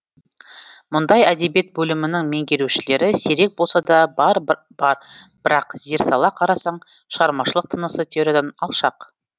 мұндай әдебиет бөлімінің меңгерушілері сирек болса да бар бірақ зер сала қарасаң шығармашылық тынысы теориядан алшақ